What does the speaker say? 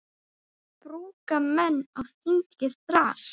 Brúka menn á þingi þras.